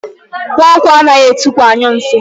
Nwankwọ anaghị etukwu anyụ nsị.